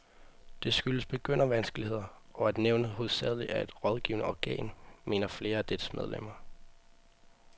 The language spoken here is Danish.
Det skyldes begyndervanskeligheder, og at nævnet hovedsageligt er et rådgivende organ, mener flere af dets medlemmer.